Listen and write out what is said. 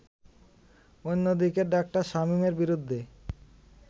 অন্যদিকে ডা. শামীমের বিরুদ্ধে